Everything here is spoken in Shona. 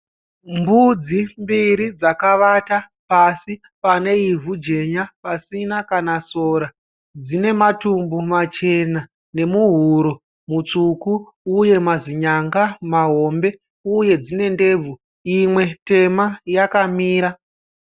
Mbudzi mbiri dzakavata pasi pane ivhu jenya pasina kana sora dzina matumbu machena nemuhuro mutsvuku uye mazinyanga mahombe . Uye dzine ndebvu uye imwe tema yakamira.